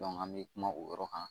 an bɛ kuma o yɔrɔ kan